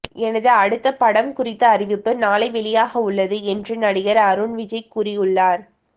எனது அடுத்த படம் குறித்த அறிவிப்பு நாளை வெளியாக உள்ளது என்று நடிகர் அருண் விஜய் கூறியுள்ளார்